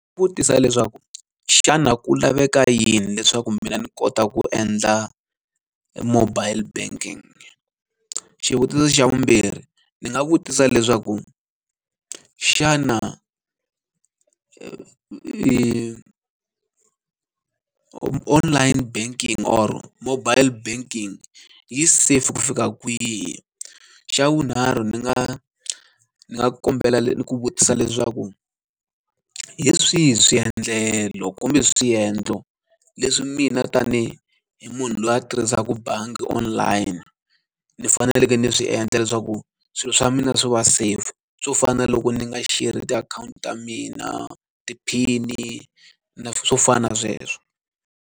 Vutisa leswaku xana ku laveka yini leswaku mina ni kota ku endla mobile banking? Xivutiso xa vumbirhi ndzi nga vutisa leswaku, xana online banking or mobile banking yi safe ku fika kwihi? Xa vunharhu ni nga ni nga kombela ku vutisa leswaku, hi swihi swiendlelo kumbe swiendlo leswi mina tani hi munhu loyi a tirhisaka bangi online ni faneleke ni swi endla leswaku swilo swa mina swi va safe? Swo fana na loko ni nga sherhi tiakhawunti ta mina, tiphini, na swo fana na sweswo.